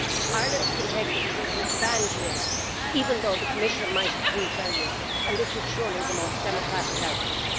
Ireland can take the decision to ban GMs, even though the Commission might approve their use, and this is surely the most democratic outcome.